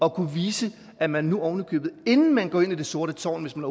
at kunne vise at man nu ovenikøbet inden man går ind i det sorte tårn hvis man